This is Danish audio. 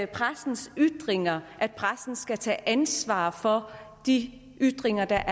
pressens ytringer at pressen skal tage ansvar for de ytringer der